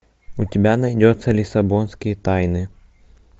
у тебя найдется лиссабонские тайны